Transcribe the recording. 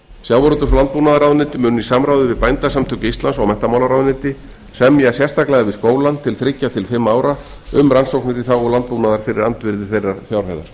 sjávarútvegs og landbúnaðarráðuneyti munu í samráði við bændasamtök íslands og menntamálaráðuneyti semja sérstaklega við skólann til þriggja til fimm ára um rannsóknir í þágu landbúnaðar fyrir andvirði þeirrar fjárhæðar